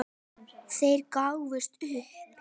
Þeir gáfust upp.